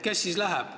Kes siis läheb?